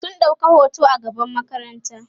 sun ɗauka hoto a gaban makaranta